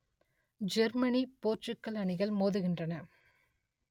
Germany Portugal அணிகள் மோதுகின்றன